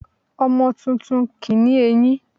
Ọmọ tuntun kì ní eyín